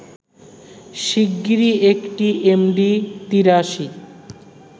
শিগগিরই একটি এমডি-৮৩